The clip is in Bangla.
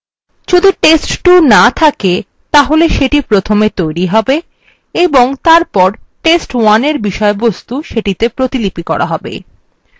যদি test2 না থকে তাহলে এটা প্রথমে তৈরী হবে এবং তারপর test1 এর বিষয়বস্তু সেটি তে প্রতিলিপি করা হবে